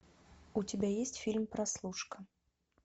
у тебя есть фильм прослушка